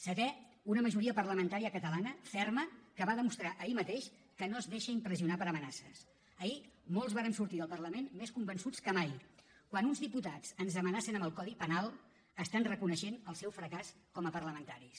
setè una majoria parlamentària catalana ferma que va demostrar ahir mateix que no es deixa impressionar per amenaces ahir molts vàrem sortir del parlament més convençuts que mai quan uns diputats ens amenacen amb el codi penal estan reconeixent el seu fracàs com a parlamentaris